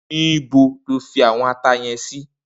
Nibó ló fi áwòn àtá yèn si?